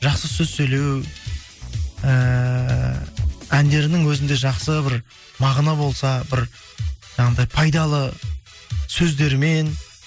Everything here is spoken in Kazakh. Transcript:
жақсы сөз сөйлеу ііі әндерінің өзінде жақсы бір мағына болса бір жаңағындай пайдалы сөздермен